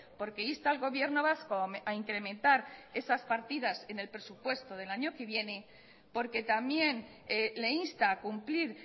porque insta al gobierno vasco a incrementar esas partidas en el presupuesto del año que viene porque también le insta a cumplir